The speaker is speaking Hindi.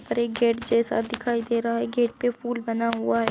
पर एक गेट जैसा दिखाई दे रहा है गेट पे फूल बना हुआ है।